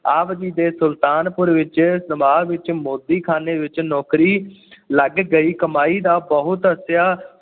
ਆਪ ਜੀ ਦੇ ਸੁਲਤਾਨਪੁਰ ਵਿਚ ਨਵਾਬ ਵਿੱਚ ਮੋਦੀ-ਖਾਨੇ ਵਿੱਚ ਨੌਕਰੀ ਲੱਗ ਗਈ ਕਮਾਈ ਦਾ ਬਹੁਤ ਹਿੱਸਾ